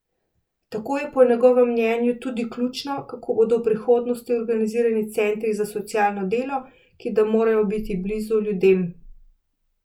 Tako je po njegovem mnenju tudi ključno, kako bodo v prihodnosti organizirani centri za socialno delo, ki da morajo biti blizu ljudem.